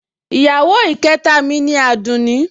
Ìyàwó ìkẹta mi ni Àdùnní